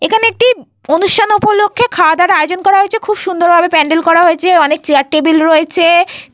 এখানে একটি অনুষ্ঠান উপলক্ষে খাওয়া দাবার আয়োজন করা হয়েছে। খুব সুন্দর ভাবে প্যান্ডেল করা হয়েছে। অনেক চেয়ার টেবিল রয়েছে।